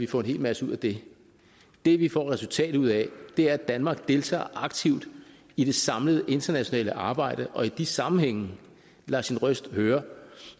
få en hel masse ud af det det vi får et resultat ud af er at danmark deltager aktivt i det samlede internationale arbejde og i de sammenhænge lader sin røst høre